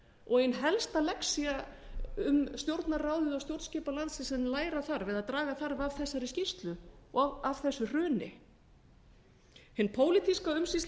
og ein helsta lexía um stjórnarráðið og stjórnskipan landsins sem menn læra þarf eða draga þarf af þessari skýrslu og af þessu hruni hin pólitíska umsýsla